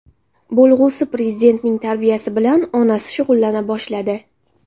Bo‘lg‘usi prezidentning tarbiyasi bilan onasi shug‘ullana boshladi.